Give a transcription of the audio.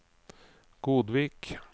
Godvik